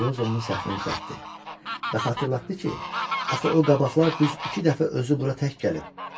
Eliozo onun səhvini düzəltdi və xatırlatdı ki, axı o qabaqlar düz iki dəfə özü bura tək gəlib.